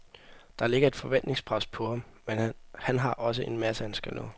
Der ligger et forventningspres på ham, men han har også en masse, han skal nå.